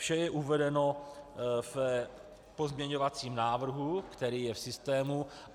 Vše je uvedeno v pozměňovacím návrhu, který je v systému.